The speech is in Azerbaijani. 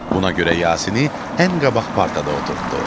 Buna görə Yasini ən qabaq partada oturtddu.